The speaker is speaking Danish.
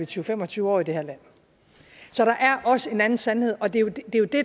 til fem og tyve år i det her land så der er også en anden sandhed og det er jo det